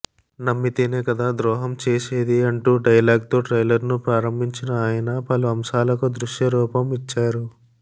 నమ్మితేనే కదా ద్రోహం చేసేది అంటూ డైలాగ్తో ట్రైలర్ను ప్రారంభించిన ఆయన పలు అంశాలకు దృశ్య రూపం ఇచ్చారు